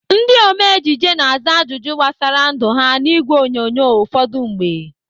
Ndị ome ejije na-aza ajụjụ gbasara ndụ ha n'ìgwè onyonyo ụfọdụ mgbe.